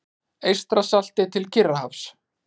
Eystrasalti til Kyrrahafs.